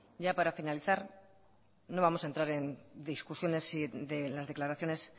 ya para finalizar no vamos a entrar en discusiones si de las declaraciones